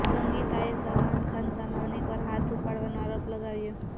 સંગીતાએ સલમાન ખાન સામે અનેક વાર હાથ ઉપાડવાનો આરોપ લગાવ્યો